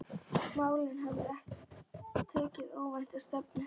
Málin höfðu tekið óvænta stefnu.